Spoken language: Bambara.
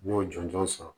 N y'o jɔnjɔn sɔrɔ